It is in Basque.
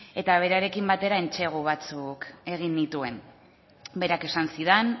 eta berarekin batera entsegu batzuk egin nituen berak esan zidan